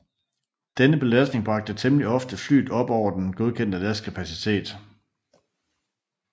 Denne belastning bragte temmelig ofte flyet op over den godkendte lastkapacitet